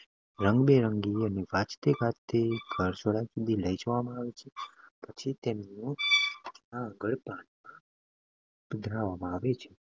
ને રંગબેરંગી અને વાજતગાજતે સરઘસમાં લઈ જવામાં આવે છે અને પરંપરાગત રીતે.